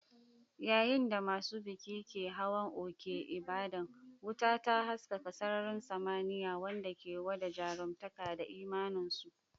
Yayin da masu bikin ke hawan Oke Ibadan, wuta ta haskaka sararin samaniya, wanda ke gwada jaruntaka da imaninsu.